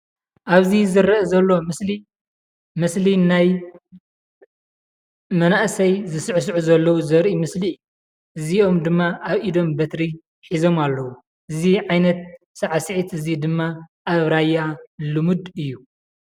ኣብዚ ዝረአ ዘሎ ምስሊ፡ ምስሊ ናይ መናእሰይ ዝስዕስዑ ዘለው ዘርኢ ምስሊ እዩ፡፡ እዚኦም ድማ ኣብ ኢዶም በትሪ ሒዞም ኣለው፡፡ እዚ ዓይነት ሳዕስዒት እዚ ድማ ኣብ ራያ ልሙድ እዩ፡፡